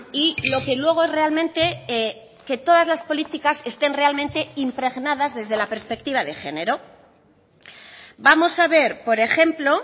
y lo que luego realmente que todas las políticas estén realmente impregnadas desde la perspectiva de género vamos a ver por ejemplo